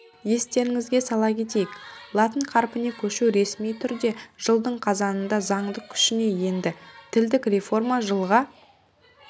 естеріңізге сала кетейік латын қарпіне көшу ресми түрде жылдың қазанында заңдық күшіне енді тілдік реформа жылға